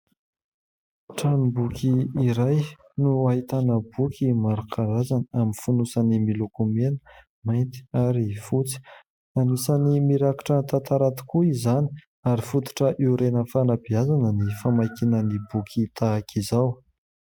Tranom-boky iray no ahitana boky maro karazany amin'ny fonosany miloko mena, mainty, ary fotsy. Anisany mirakitra tantara tokoa izany ary fototra hiorenan'ny fanabeazana ny famakiana ny boky tahaka izao.